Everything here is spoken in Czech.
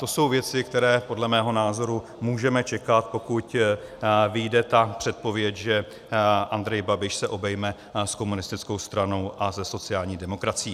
To jsou věci, které podle mého názoru můžeme čekat, pokud vyjde ta předpověď, že Andrej Babiš se obejme s komunistickou stranou a se sociální demokracií.